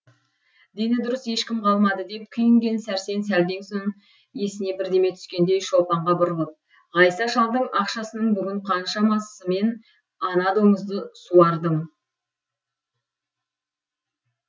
дені дұрыс ешкім қалмады деп күйінген сәрсен сәлден соң есіне бірдеме түскендей шолпанға бұрылып ғайса шалдың ақшасының бүгін қаншасымен ана доңызды суардым